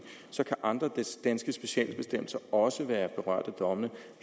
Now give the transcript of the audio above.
andre danske specialbestemmelser også være berørt af domme